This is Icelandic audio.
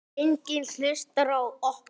Enginn hlusta á okkur.